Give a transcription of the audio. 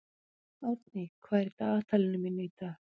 Árný, hvað er í dagatalinu mínu í dag?